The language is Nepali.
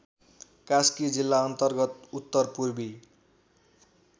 कास्की जिल्लाअन्तर्गत उत्तरपूर्वी